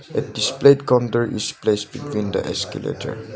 a displayed counter is placed between the escalator.